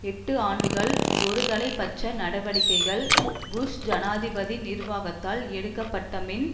எட்டு ஆண்டுகள் ஒருதலை பட்ச நடவடிக்கை புஷ் ஜனாதிபதி நிர்வாகத்தால் எடுக்கப்பட்டபின்